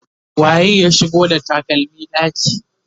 waye ya shigo da takalmi ɗaki?